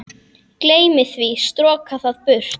Gleymi því, stroka það burt.